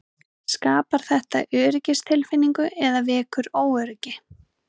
Skapar þetta öryggistilfinningu eða vekur óöryggi?